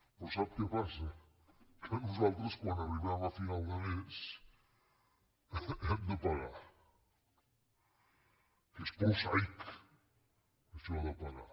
però sap què passa que nosaltres quan arribem a final de mes hem de pagar que és prosaic això de pagar